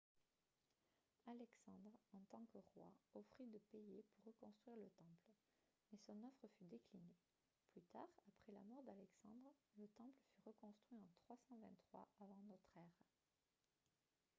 alexandre en tant que roi offrit de payer pour reconstruire le temple mais son offre fut déclinée plus tard après la mort d'alexandre le temple fut reconstruit en 323 avant notre ère